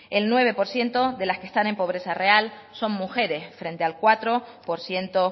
el nueve por ciento de las que están en pobreza real son mujeres frente al cuatro por ciento